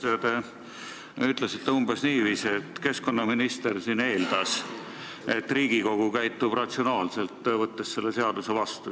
Te ütlesite umbes niiviisi, et keskkonnaminister eeldas, et Riigikogu käitub ratsionaalselt ja võtab selle seaduse vastu.